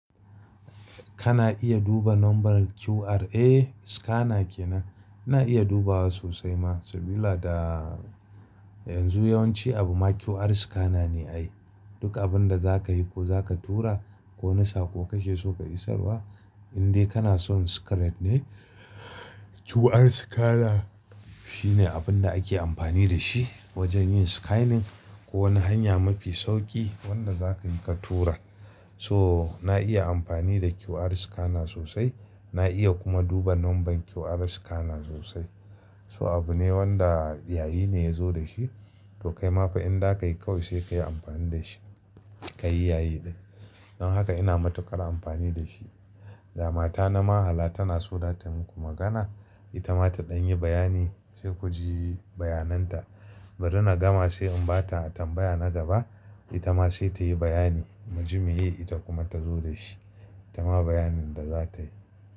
Kana iya duba nombar QR? Eh, scanner kenan. Ina iya dubawa sosai ma, sabila da yanzu yawanci abu ma QR scanner ne ai. Duk abun da zakayi ko zaka tura ko wani saƙo kake so ka isarwa, in dai kana son secret ne QR scanner shine abun da ake amfani da shi wajen yin scanning. Ko wani hanya mafi sauƙi wanda zakayi ka tura. So na iya amfani da QR scanner sosai, na iya kuma duba nomban QR scanner sosai. So abu ne wanda yayi ne yazo da shi, to kaima fa in zakayi kawai sai kayi amfani da shi, kayi yayi din. Don haka ina matuƙar amfani da shi. Ga matana ma hala tanaso zatayi muku magana, itama ta ɗan yi bayani sai kuji bayananta. Bari nagama sai in bata tambaya na gaba, itama sai tayi bayani, muji meye ita kuma ta zo da shi. Ita ma bayanin da za ta yi.